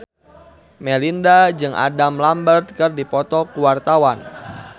Melinda jeung Adam Lambert keur dipoto ku wartawan